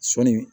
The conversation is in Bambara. Sɔɔni